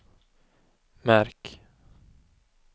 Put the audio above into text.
märk